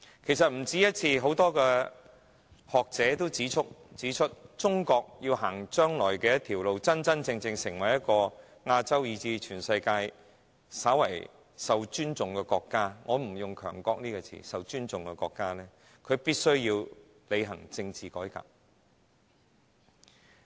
其實不止一次，很多學者也曾指出，中國要在將來真正成為亞洲以至全世界稍為受尊重的國家——我不用"強國"一詞——她必須履行政治改革。